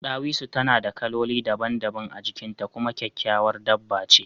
Ɗawisu tana da kaloli daban-daban a jikin ta kuma kyakkyawar dabba ce